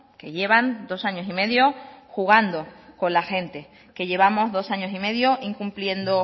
que llevan dos años y medio jugando con la gente que llevamos dos años y medio incumpliendo